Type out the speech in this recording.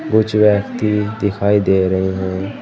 कुछ व्यक्ति दिखाई दे रहे हैं।